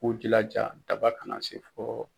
U k'u jilaja daba kana se fɔ.